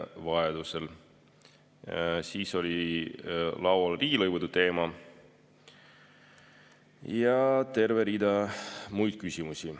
Laual oli riigilõivude teema ja terve rida muid küsimusi.